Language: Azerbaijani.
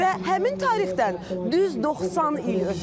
Və həmin tarixdən düz 90 il ötüb.